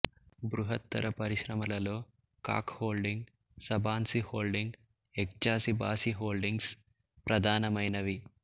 బృహత్తర పరిశ్రమలలో Koc holding Sabanci holding Eczacibasi holdings ప్రధానమైనవి